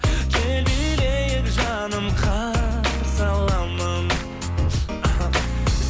кел билейік жаным қарсы аламын